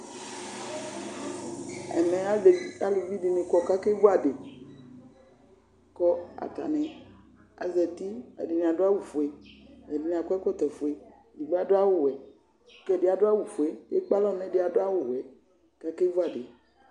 ẽmɛ ɑlụviɗiɲi kɔkɑkɛvụɑɗi kɔ ɑtạɲi ɑkévuɑɗiko ɑtɑṅi ɑzɑti ɛɗiɲiɑdụ ɑwụfụɛ éɗiɲi ɗọ ɛkọtọfụɛ ɛɗibiɑɗụɑ wũ kéɗiɑɗụ ɑwụfụɛ ɛkpẽạlọ ɲɛɗiɛɑɗwʊwẽ